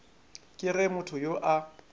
ke ge motho yo a